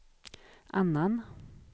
annan